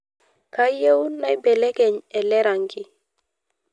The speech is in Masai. kayieu naibekeny ele rangi